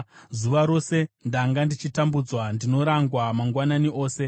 Zuva rose ndanga ndichitambudzwa; ndinorangwa mangwanani ose.